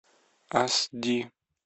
аш ди